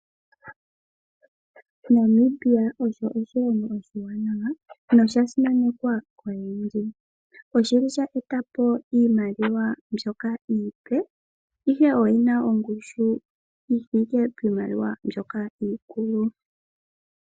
Namibia osho oshilongo oshiwanawa nosha simanekwa koyendji. Oshili sha etapo iimaliwa mbyoka iipe ihe oyina ongushu yi thike piimaliwa mbyoka iikulu.